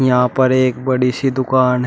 यहां पर एक बड़ी सी दुकान है।